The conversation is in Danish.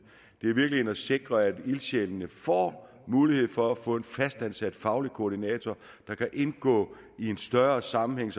virkeligheden at sikre at ildsjælene får mulighed for at få en fastansat faglig koordinator der kan indgå i en større sammenhæng